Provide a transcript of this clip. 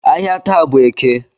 Ahịa taa bụ eke